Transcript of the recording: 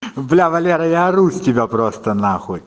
бля валера я ору с тебя просто нахуй